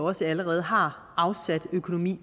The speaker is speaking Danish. også allerede har afsat økonomi